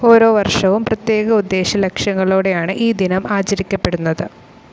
ഓരോവർഷവും പ്രത്യേക ഉദ്ദേശലക്ഷ്യങ്ങളോടെയാണ് ഈ ദിനം ആചരിക്കപ്പെടുന്നത്.